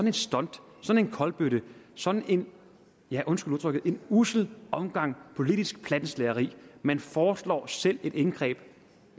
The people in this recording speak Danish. et stunt sådan en kolbøtte sådan en ja undskyld udtrykket ussel omgang politisk plattenslageri man foreslår selv et indgreb